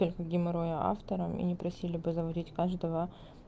геморрой авторами не просили бы заводить каждого